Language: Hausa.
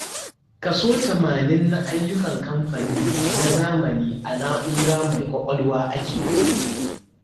Kaso tamanin na ayyukan kamfanin na zamani a na'ura mai ƙwaƙwalwa ake yi.